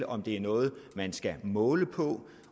om det er noget man skal måle på